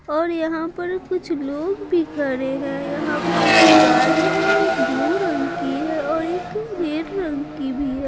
और यहाँ पर कुछ लोग भी खड़े हैं यहाँ पर जो गाड़ी है वो एक ब्लू रंग की है और एक रेड रंग की भी है।